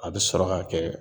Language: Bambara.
A bɛ sɔrɔ ka kɛ